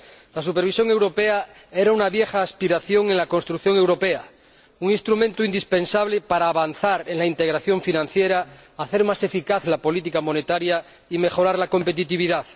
La supervisión europea era una vieja aspiración en la construcción europea, un instrumento indispensable para avanzar en la integración financiera, hacer más eficaz la política monetaria y mejorar la competitividad.